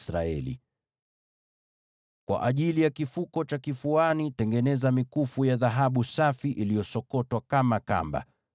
“Kwa ajili ya kile kifuko cha kifuani, tengeneza mikufu ya dhahabu safi, iliyosokotwa kama kamba.